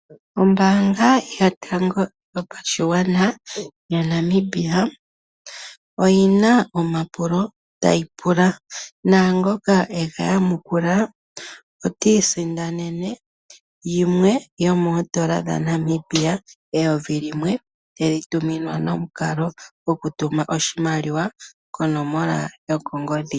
Ombaanga yotango yopashigwana oyi na omapulo ngoka tayi pula naangoka e ga yamukula ota isindanene yimwe yomiimaliwa tayi tumwa kongodhi yooN$ 1000.